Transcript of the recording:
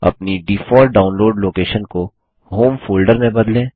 अपनी default download location को home folder में बदलें